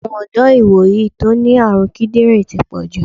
Àwọn ọ̀dọ́ ìwòyí tó ní àrùn kídírìn ti pọ̀jù.